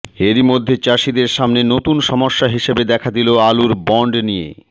এরই মধ্যে চাষিদের সামনে নতুন সমস্যা হিসেবে দেখা দিল আলুর বন্ড নিয়ে